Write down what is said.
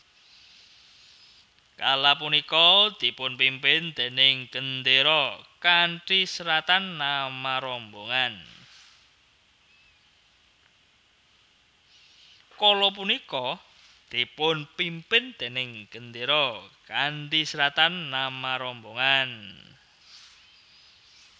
Kala punika dipunpimpin déning gendéra kanthi seratan nama rombongan